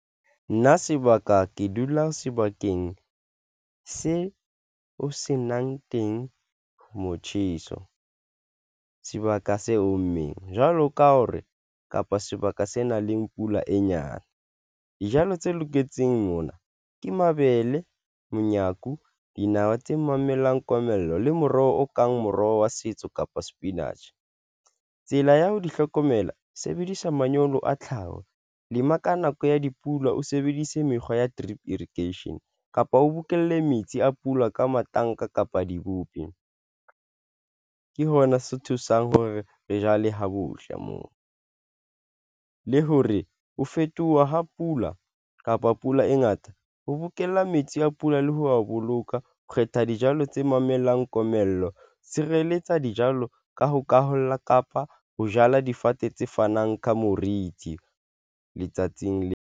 Nna sebaka ke dula sebakeng se o se nang teng, motjheso, sebaka se ommeng, jwalo ka hore kapa sebaka se nang leng pula e nyane. Dijalo tse loketseng mona ke mabele monyaku, dinawa tse mamellang komello le moroho o kang moroho wa setso kapa sepinatjhe. Tsela ya ho di hlokomela sebedisa manyolo a tlhaho lema ka nako ya dipula o sebedise mekgwa ya drip irrigation kapa o bokelle metsi a pula ka matanka kapa dikupi ke hona se thusang hore re jale ha bohle moo le hore ho fetoha ha pula kapa pula e ngata ho bokella metsi a pula le ho wa boloka. Kgetha dijalo tse mamellang komello, tshireletsa dijalo ka ho kgaola kapa ho jala difate tse fanang ka moriti letsatsing leo.